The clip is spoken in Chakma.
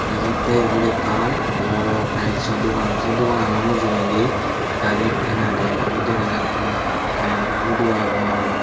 degajatte ebot ekkan bor tileso dogan se doganano mujungedi gari ekkan agey aro dega jattey karento hudo agon.